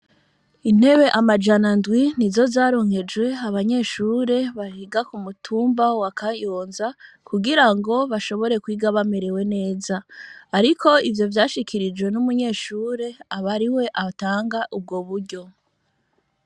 Intebe amajana ndwi ni zo zarunkejwe abanyeshure bahiga ku mutumba wa kayonza kugira ngo bashobore kwiga bamerewe neza, ariko ivyo vyashikirijwe n'umunyeshure abari we abtanga ubwo buryo.